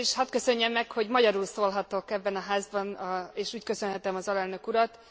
Először is hadd köszönjem meg, hogy magyarul szólhatok ebben a Házban, és úgy köszönthetem az alelnök urat.